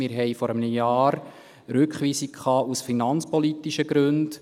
Wir hatten vor einem Jahr eine Rückweisung aus finanzpolitischen Gründen.